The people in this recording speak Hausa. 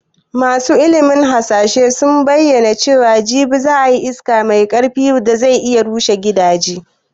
Masu ilimin hasashe sun bayyana cewa jibi za a yi iska mai karfi da zai iya rushe gidaje